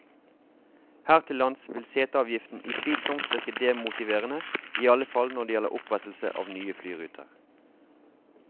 Her til lands vil seteavgiften utvilsomt virke demotiverende, iallfall når det gjelder opprettelse av nye flyruter.